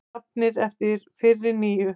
Jafnir eftir fyrri níu